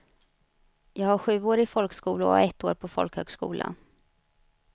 Jag har sjuårig folkskola och ett år på folkhögskola.